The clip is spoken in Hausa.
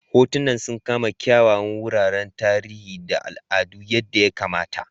Hotunan sun kama kyawawan wuraren tarihi da al'adu yadda ya kamata.